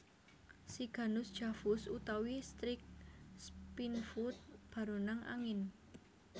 Siganus Javus utawi Streaked Spinefoot baronang angin